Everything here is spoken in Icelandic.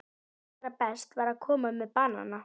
Og allra best var að koma með banana.